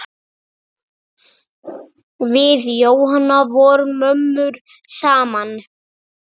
Við Jóhanna vorum mömmur saman.